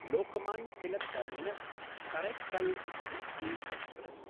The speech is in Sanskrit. Lokmanya Tilak टर्मिनस्–करैक्काल् weekly express